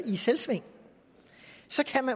i selvsving så